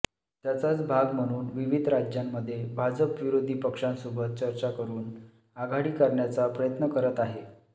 त्याचाच भाग म्हणून विविध राज्यांमध्ये भाजप विरोधी पक्षांसोबत चर्चा करुन आघाडी करण्याचा प्रयत्न करत आहे